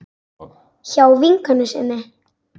Hjá vinkonu sinni?